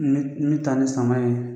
Ni ni taa ni sama ye.